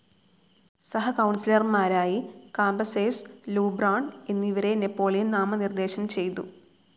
സഹകൗൺസിലർമാരായി Cambaceres, Lebrun എന്നിവരെ Napoleon നാമനിർദ്ദേശം ചെയ്തു.